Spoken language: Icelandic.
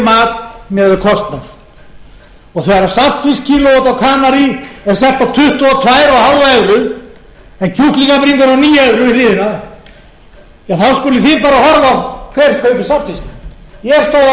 mat miðað við kostnað og þegar saltfiskkílóið úti á kanarí er selt á tuttugu og tvö og hálft evru en kjúklingabringan á níu evrur við hliðina þá skuluð þið bara horfa á hver kaupir þorskinn ég stóð á annan klukkutíma